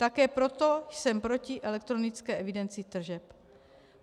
Také proto jsem proti elektronické evidenci tržeb.